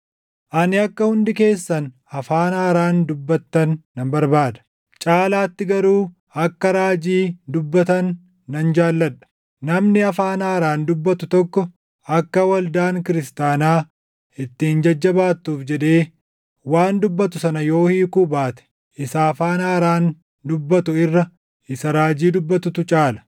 Ani akka hundi keessan afaan haaraan dubbattan nan barbaada; caalaatti garuu akka raajii dubbatan nan jaalladha. Namni afaan haaraan dubbatu tokko akka waldaan kiristaanaa ittiin jajjabaattuuf jedhee waan dubbatu sana yoo hiikuu baate isa afaan haaraan dubbatu irra isa raajii dubbatutu caala.